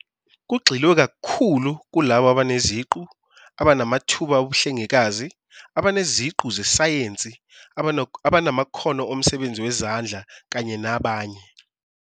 Kugxilwe kakhulu kulabo abaneziqu, abanamathuba obuhlengikazi, abaneziqu zesayensi, abanamakhono omsebenzi wezandla kanye nabanye.